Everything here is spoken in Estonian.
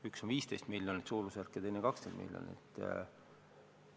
Üks on suurusjärgus 15 miljonit ja teine 20 miljonit.